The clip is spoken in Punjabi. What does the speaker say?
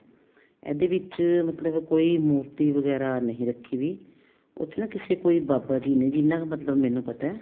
ਇਹਦੇ ਵਿੱਚ ਮਤਲਬ ਕੋਈ ਮੂਰਤੀ ਵਗੈਰਾ ਨਹੀਂ ਰੱਖੀ ਹੋਈ ਉੱਥੇ ਨਾ ਕਿਸੇ ਕੋਈ ਬਾਬਾ ਜੀ ਨੇ ਜਿੰਨਾ ਕ ਮਤਲਬ ਮੈਨੂੰ ਪਤਾ